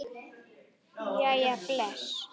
Jæja, bless